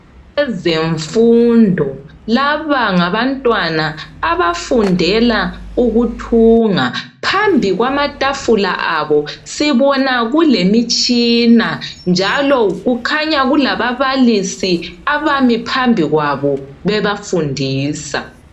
Kwezemfundo laba ngabantwana abafundela ukuthunga phambikwamatafula abo sibona kulemitshina njalo kukhanya kulababalisi abami phambikwabo bebafundisa.